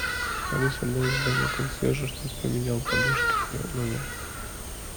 алиса дай задание консьержу чтобы поменял подушки в моем номере